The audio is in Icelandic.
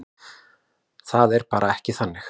Það er bara ekki þannig.